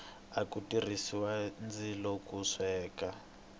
aku tirhisiwa ndzilo ku sweka